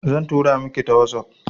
Zan tura miki ta wazof